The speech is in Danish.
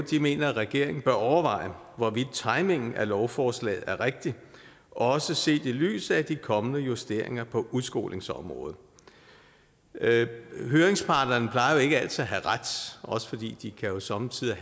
mener at regeringen bør overveje hvorvidt timingen af lovforslaget er rigtig også set i lyset af de kommende justeringer på udskolingsområdet høringsparterne har jo ikke altid ret også fordi de jo somme tider